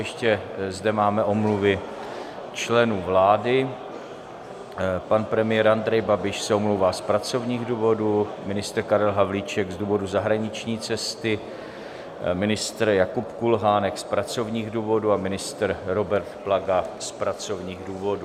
Ještě zde máme omluvy členů vlády: pan premiér Andrej Babiš se omlouvá z pracovních důvodů, ministr Karel Havlíček z důvodu zahraniční cesty, ministr Jakub Kulhánek z pracovních důvodů a ministr Robert Plaga z pracovních důvodů.